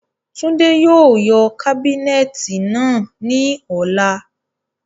Túndé yóò yọ kábínẹti naá ni ọla.